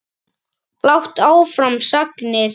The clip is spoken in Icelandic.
Blátt áfram sagnir.